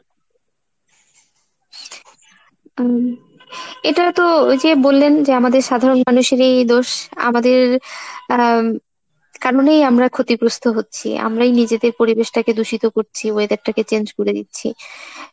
উম এইটাতো ওই যে বললেন যে আমাদের সাধারন মানুষেরই দোষ আমাদের আহ কারনেই আমরা ক্ষতিগ্রস্থ হচ্ছি আমরাই নিজেদের পরিবেশটাকে দূষিত করছি weather টা কে change করে দিচ্ছি।